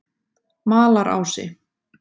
Malarási